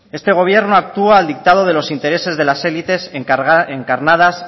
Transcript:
este gobierno actúa al dictado de los intereses de las élites encarnadas